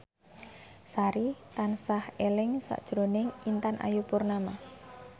Sari tansah eling sakjroning Intan Ayu Purnama